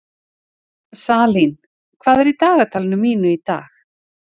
Salín, hvað er í dagatalinu mínu í dag?